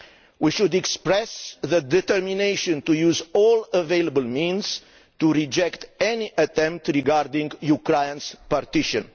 We should express our determination to use all available means to reject any attempt regarding Ukraine's partition.